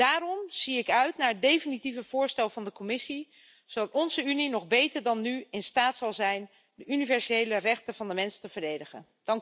Daarom zie ik uit naar het definitieve voorstel van de Commissie, zodat onze Unie nog beter dan nu in staat zal zijn de universele rechten van de mens te verdedigen.